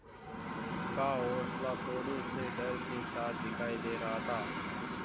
का हौंसला थोड़े से डर के साथ दिखाई दे रहा था